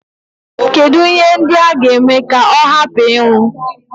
Kedụ ihe ndị a ga-eme ka ọ hapụ ịnwụ?